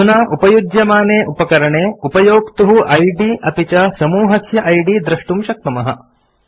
अधुना उपयुज्यमाने उपकरणे उपयोक्तुः इद् अपि च समूहस्य इद् द्रष्टुं शक्नुमः